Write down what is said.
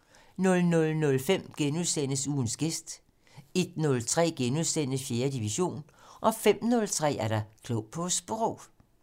00:05: Ugens gæst * 01:03: 4. division * 05:03: Klog på Sprog